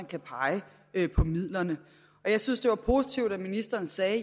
kan pege på midlerne jeg synes det var positivt at ministeren sagde